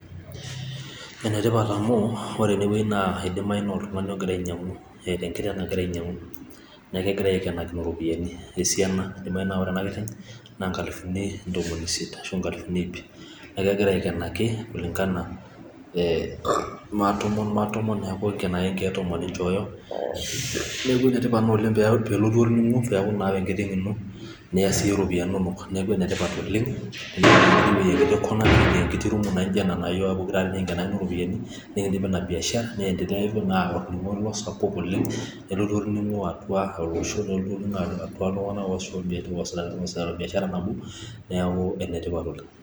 Enetipat amu ore ene wueji naa oltung'ani ogira ainyiang'u eeta enkiteng' nagira ainyiang'u, neaku kegira aikenakino iropiyiani esaina, eidimayu naa ore ena kiteng' naa engalifuni intomoni isiet, ashu ingalifuni iip' neeku kegira aikenaki kulingana ee maatomon neaku eeng'en ake inkiek tomon ninchooyo neaku ene tipat naa oleng' peelotu orning'o peeku naa ore enkiteng' ino neya siyie iropiyiani inonok neaku ene tipat oleng' peekijing' enkiti rum naijio ena naa iyiok ake pokira aare niking'enakino iropiyiani neaku nikidim Ina biashara neanteleya Naaku aku orning'o lang sapuk oleng' nelotu orning'o atua olosho nelotu orning'o atua iltung'anak oosuta biashara nabo neaku ene tipat oleng' .